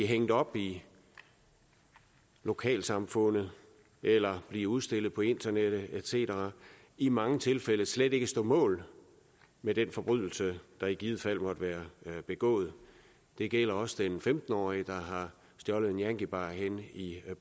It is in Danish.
hængt op i lokalsamfundet eller blive udstillet på internettet et cetera i mange tilfælde slet ikke stå mål med den forbrydelse der i givet fald måtte være begået det gælder også den femten årige der har stjålet en yankiebar henne i